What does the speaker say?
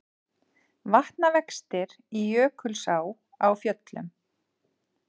Vatnavextir í Jökulsá á Fjöllum